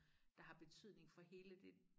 Der har betydning for hele det